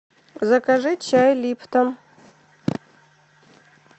закажи чай липтон